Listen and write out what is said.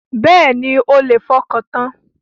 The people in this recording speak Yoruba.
Bẹ́ẹ̀ni, ẹ lè fọkàntan.